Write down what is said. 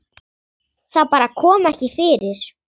Það bara kom ekki fyrir.